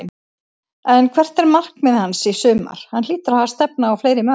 En hvert er markmið hans í sumar, hann hlýtur að stefna á fleiri mörk?